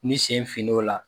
Ni sen finn'o la